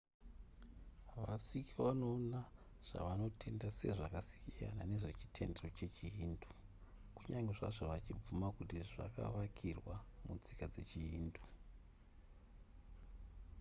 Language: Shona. vasikh vanoona zvavanotenda sezvakasiyana nezve chitendero chechihindu kunyange zvazvo vachibvuma kuti zvakavakirwa mutsika dzechihindu